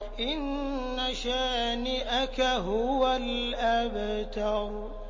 إِنَّ شَانِئَكَ هُوَ الْأَبْتَرُ